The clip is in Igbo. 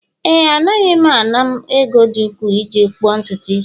Ee, Anaghị m ana m ego dị ukwu iji akpụ ntutu isi